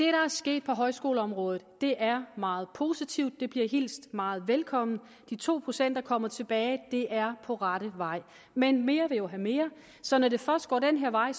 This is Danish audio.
er sket på højskoleområdet er meget positivt det bliver hilst meget velkommen de to procent kommer tilbage det er på rette vej men mere vil jo have mere så når det først går den her vej